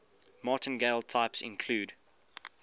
martingale types include